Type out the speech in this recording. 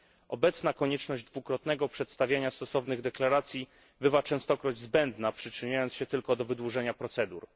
Obecna konieczność dwukrotnego przedstawiania stosownych deklaracji bywa częstokroć zbędna, przyczyniając się tylko do wydłużania procedur.